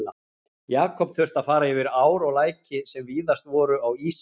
Jakob þurfti að fara yfir ár og læki, sem víðast voru á ísi.